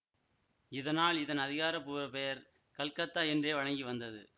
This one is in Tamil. இதனால் இதன் அதிகாரபூர்வப் பெயர் கல்கத்தா என்றே வழங்கி வந்தது